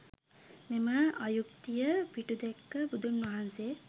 මෙම අයුක්තිය පිටුදැක්ක බුදුන් වහන්සේ